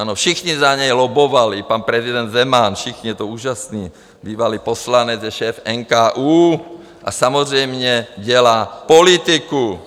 Ano, všichni za něj lobbovali, pan prezident Zeman, všichni, je to úžasné, bývalý poslanec je šéf NKÚ a samozřejmě dělá politiku.